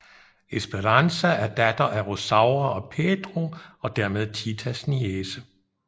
Esperanza er datter af Rosaura og Pedro og dermed Titas niece